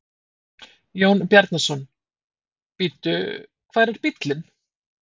Jón Bjarnason: Bíddu, hvar er bíllinn?